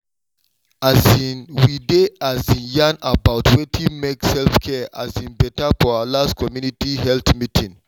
um we dey um yarn about wetin make self-care um beta for our last community health meeting.